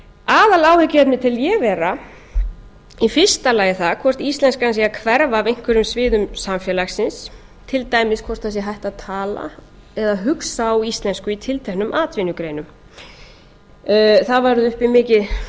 aðaláhyggjuefnið tel ég vera í fyrsta lagi það hvort íslenskan sé að hverfa af einhverjum sviðum samfélagsins til dæmis hvort það sé hætt að tala eða hugsa á íslensku í tilteknum atvinnugreinum það var uppi mikið